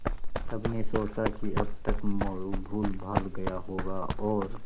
सबने सोचा कि अब तक मोरू भूलभाल गया होगा और